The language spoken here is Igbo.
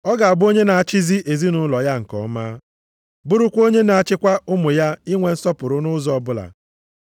Ọ ga-abụ onye na-achịzi ezinaụlọ ya nke ọma, bụrụkwa onye na-achịkwa ụmụ ya inwe nsọpụrụ nʼụzọ ọbụla.